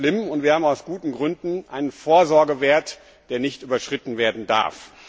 Das ist schlimm, und wir haben aus guten Gründen einen Vorsorgewert, der nicht überschritten werden darf.